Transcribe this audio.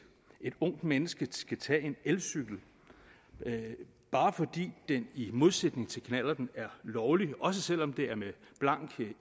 et ungt menneske skulle tage en elcykel bare fordi den i modsætning til knallerten er lovlig også selv om det er med blank